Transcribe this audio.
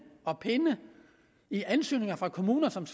og pinde i ansøgninger fra kommuner som